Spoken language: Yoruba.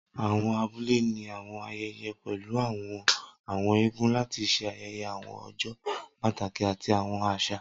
Awọn abule ni awọn ayẹyẹ pẹlu awọn Àwọn eégún lati ṣe ayẹyẹ awọn ọjọ pataki ati awọn aṣa.